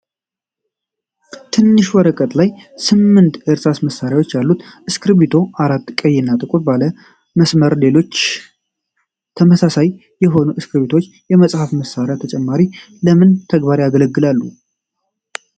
በትናንሽ ወረቀቶች ላይ ስምንት በእርሳስ መሳያዎች ያሉት እስክርቢቶዎች፣ አራቱ ቀይ እና ጥቁር ባለ መስመር፣ ሌሎቹ አራቱ ደግሞ አረንጓዴ ናቸው፤ ሁሉም ቀይ ላስቲክ አላቸው። እነዚህ ተመሳሳይ የሆኑ እስክርቢቶዎች ከጽሕፈት መሣሪያ በተጨማሪ ለምን ተግባር ያገለግላሉ?